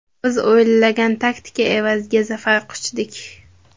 Biz o‘ylangan taktika evaziga zafar quchdik.